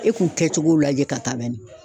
E k'u kɛcogo lajɛ ka taa ban ɲi